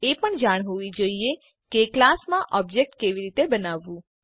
તમને એ પણ જાણ હોવી જોઈએ કે ક્લાસ માટે ઓબ્જેક્ટ કેવી રીતે બનાવવું